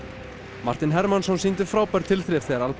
Martin Hermannsson sýndi frábær tilþrif þegar